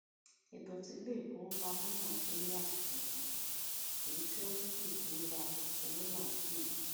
ètò it ti ilé ìfowópamọ náà ní àṣìṣe kan èyí tí ó mú kí ìfiwéra owó náà kùnà